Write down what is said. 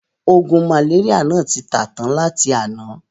Oògùn màléríà náà ti tà tán láti àná.